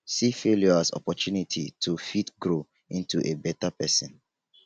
see failure as opportunity to fit grow into a better person